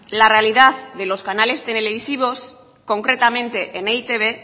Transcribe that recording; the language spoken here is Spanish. la realidad de los canales televisivos concretamente en e i te be